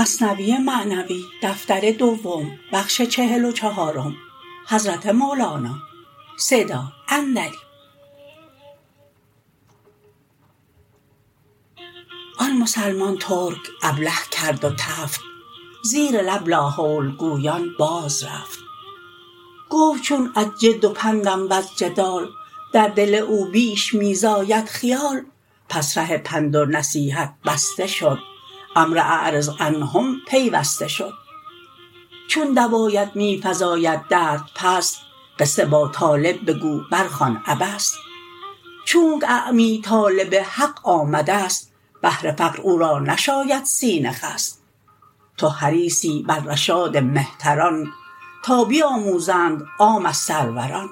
آن مسلمان ترک ابله کرد و تفت زیر لب لاحول گویان باز رفت گفت چون از جد و بندم وز جدال در دل او بیش می زاید خیال پس ره پند و نصیحت بسته شد امر اعرض عنهم پیوسته شد چون دوایت می فزاید درد پس قصه با طالب بگو بر خوان عبس چونک اعمی طالب حق آمدست بهر فقر او را نشاید سینه خست تو حریصی بر رشاد مهتران تا بیاموزند عام از سروران